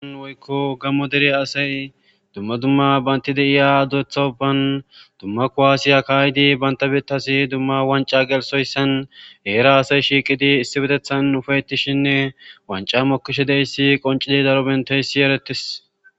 an woykko gammo dere asay dumma dumma baynti de iya dureththa uban dumma kuwaasiya kaaydi baynta bettasi dumma wanca gelsoyssan heera asay shiiqidi issi bedethan ufaytishinne wanca mokkishe deyssi qoncidi daro benteyssi erettis